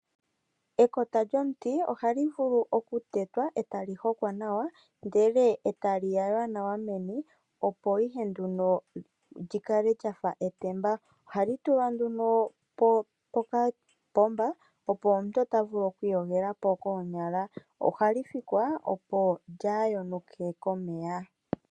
Ekota lyomuti ohali vulu okutetwa, e ta li hokwa nawa, ndele e tali yaywa nawa meni, opo ihe li kale lya fa etemba. Ohali tulwa nduno pokapomba, opo omuntu a kale ta vulu oku iyogela po koonyala. Ohali fikwa, opo lyaa yonuke komeya.